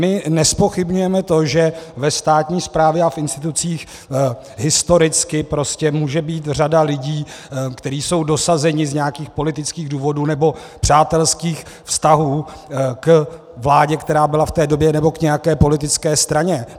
My nezpochybňujeme to, že ve státní správě a v institucích historicky může být řada lidí, kteří jsou dosazeni z nějakých politických důvodů nebo přátelských vztahů k vládě, která byla v té době, nebo k nějaké politické straně.